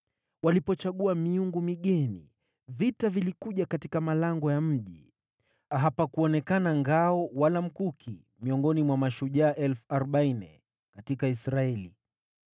Walipochagua miungu migeni, vita vilikuja katika malango ya mji, hapakuonekana ngao wala mkuki miongoni mwa mashujaa 40,000 katika Israeli.